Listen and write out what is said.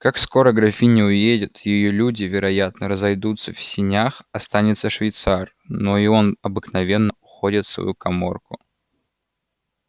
как скоро графиня уедет её люди вероятно разойдутся в сенях останется швейцар но и он обыкновенно уходит в свою каморку